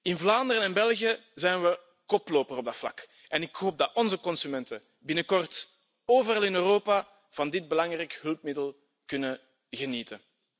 In Vlaanderen en België zijn we koploper op dat vlak en ik hoop dat onze consumenten binnenkort overal in Europa van dit belangrijk hulpmiddel kunnen genieten.